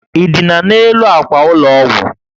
Ị dina n'elu àkwà ụlọ ọgwụ?